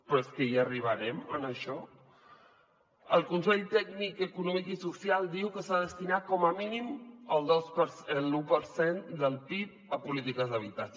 però és que hi arribarem a això el consell tècnic econòmic i social diu que s’ha de destinar com a mínim l’u per cent del pib a polítiques d’habitatge